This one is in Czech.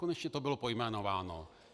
Konečně to bylo pojmenováno.